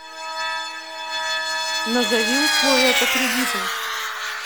назови условия по кредиту